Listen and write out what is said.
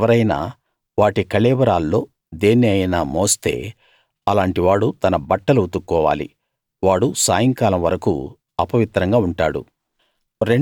ఎవరైనా వాటి కళేబరాల్లో దేన్ని అయినా మోస్తే అలాంటి వాడు తన బట్టలు ఉతుక్కోవాలి వాడు సాయంకాలం వరకూ అపవిత్రంగా ఉంటాడు